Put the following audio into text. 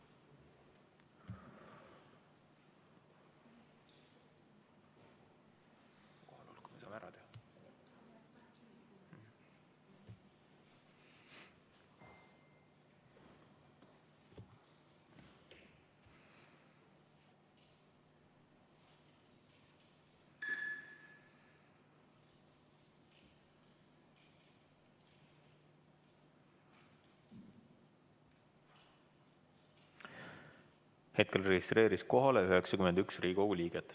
Kohalolijaks registreerus 91 Riigikogu liiget.